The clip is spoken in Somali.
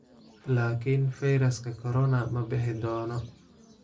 laakiin fayraska corona ma bixi doono?